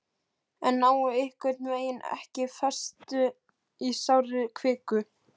en nái einhvern veginn ekki festu í sárri kviku